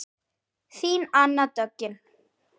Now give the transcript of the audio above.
Þín Anna Döggin.